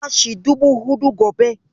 Zan bashi dubu huɗu gobe.